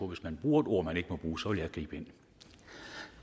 hvis man bruger et ord man ikke må bruge så vil jeg gribe ind